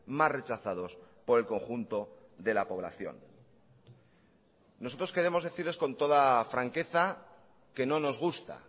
más rechazados por el conjunto de la población nosotros queremos decirles con toda franqueza que no nos gusta